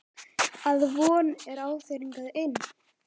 Að von er á þér hingað inn.